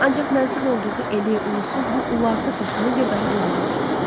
ancaq mənsub olduğu eli, ulusu bu ulartı səsini bir daha duymayacaqdı.